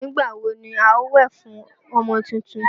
Nígbà wo ni wà á wẹ̀ fún ọmọ tuntun?